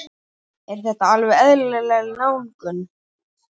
Er þetta alveg eðlileg nálgun?